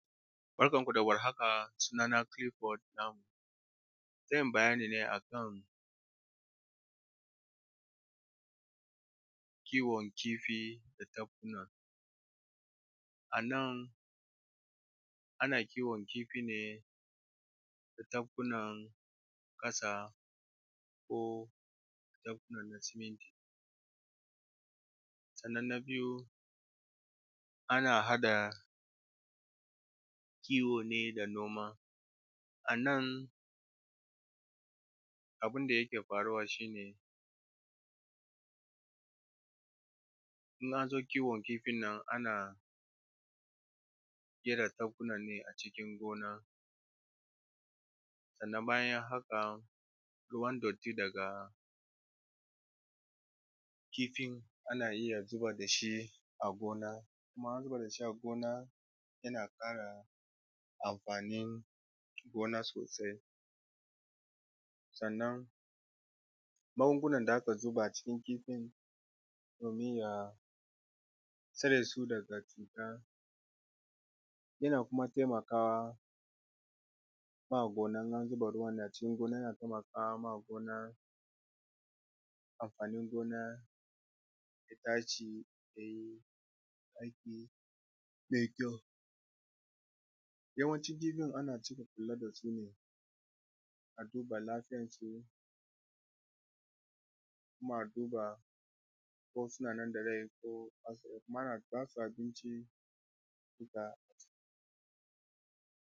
Barkanmu da warhaka sunana Kilifod Namu zan yi bayani ne akan kiwon kifi na tafkuna a nan ana kiwon kifi ne a tafkunan ƙasa ko tafkuna masu me siminti sannan na biyu ana haɗa kiwo ne da noma, a nan abun da yake faruwa shi ne in an zo kiwon kifin nan ana gefen tafkunan ne a cikin gona daga baya haka ruwan kogi daga kifin ana iya zubar da shi a gona kuma in an zuba shi a gona yana ƙara amfanin gona su tsiro sannan mangungunan da aka zuba cikin kifin domin ya cire su daga cuta, yana kuma taimakawa kuma a gona in an zuba ruwan nan cikin gona yana taimakawa gona anfanin gona ya tashi ya yi aiki mai kyau, yawancin kifin ana kula da su ne a duba lafiyarsu kuma a duba ko sunan da rai ko mara ba sa abinci da.